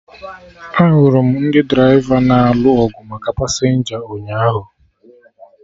Ahụrụ m ndị draịva na-alụ ọgụ maka pasenja ụnyaahụ